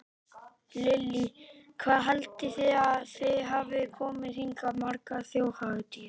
Lillý: Hvað haldið þið að þið hafið komið hingað margar þjóðhátíðar?